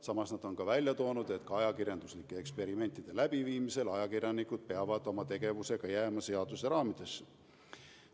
Samas nad on välja toonud, et ka ajakirjanduslike eksperimentide läbiviimisel peavad ajakirjanikud oma tegevusega jääma seaduse raamidesse.